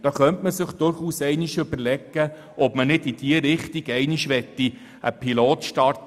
Man könnte sich durchaus überlegen, im Kanton Bern einen Pilot in diese Richtung zu starten.